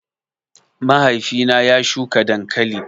Mahaifi na ya shuka dankali